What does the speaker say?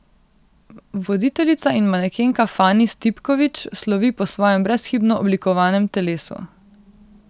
Voditeljica in manekenka Fani Stipković slovi po svojem brezhibno oblikovanem telesu.